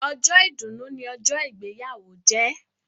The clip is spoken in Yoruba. Ọjọ́ ìdùnnu ni ọjọ́ ìgbéyàwó jẹ́.